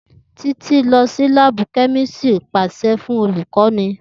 Titi lọ si laabu kemistri paṣẹ fun olukọni